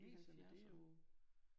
I 70'erne